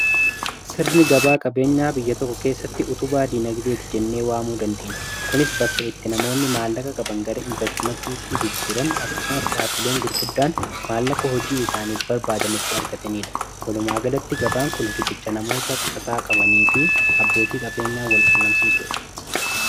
sirni gabaa qabeenyaa biyya tokko keessatti utuu baadii nagdeeti jennee waamuu dandeenye kunis bakka itti namoonni maallaka qaban gara investimattiitti jijjiiran akkasumas dhaabileen gurguddaan maallaka hojii isaaniif barbaadanitti arkatanii dha halumaagalatti gabaan kun rikicha namoota qusataa qabanii fi abbootii qabeenyaa wal qunnamsiisuu dha